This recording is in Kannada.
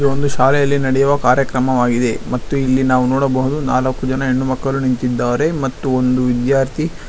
ಇದು ಒಂದು ಶಾಲೆಯಲ್ಲಿ ನಡೆಯುವ ಕಾರ್ಯಕ್ರಮವಾಗಿದೆ ಮತ್ತು ಇಲ್ಲಿ ನಾವು ನೋಡಬಹುದು ನಾಲಕ್ಕು ಜನ ಹೆಣ್ಣು ಮಕ್ಕಳು ನಿಂತಿದ್ದಾರೆ ಮತ್ತು ಒಂದು ವಿದ್ಯಾರ್ಥಿ--